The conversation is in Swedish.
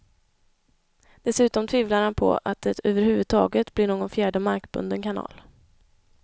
Dessutom tvivlar han på att det överhuvudtaget blir någon fjärde markbunden kanal.